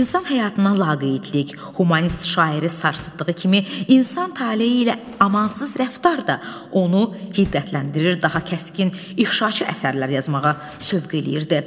İnsan həyatına laqeydlik, humanist şairi sarsıtdığı kimi, insan taleyi ilə amansız rəftar da onu hiddətləndirir, daha kəskin inqişaçı əsərlər yazmağa sövq eləyirdi.